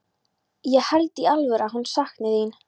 Ég held í alvöru að hún sakni þín.